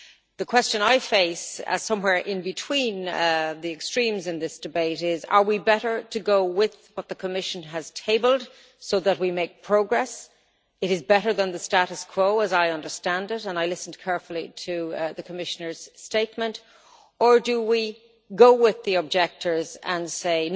The question I face, somewhere in between the extremes in this debate, is whether we are better to go with what the Commission has tabled, so that we make progress it is better than the status quo, as I understand it, and I listened carefully to the Commissioner's statement or whether we should go with the objectors and say